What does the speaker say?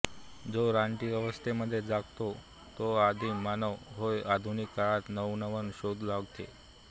जो रानटी अवस्थेमध्ये जगतो तो आदिम मानव होय आधुनिक काळात नवनवन शोध लागले